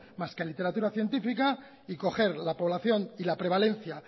más que la literatura científica y coger la población y la prevalencia